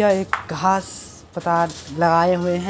यह एक घांस पताल लगाए हुए हैं।